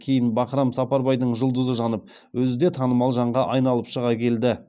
кейін бахрам сапарбайдың жұлдызы жанып өзі де танымал жанға айналып шыға келді